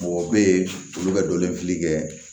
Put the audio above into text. Mɔgɔw bɛ yen olu bɛ donlen fili kɛ